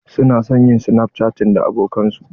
Su na son yin snapchatting da abokanan su.